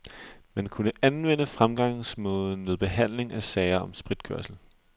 Man kunne anvende fremgangsmåden ved hehandling af sager om spritkørsel.